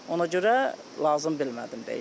Ona görə lazım bilmədim dəyişməyə.